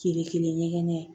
Kelen kelen ɲɛgɛn